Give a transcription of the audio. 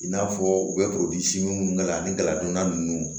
I n'a fɔ u bɛ minnu k'a la ani daladonna ninnu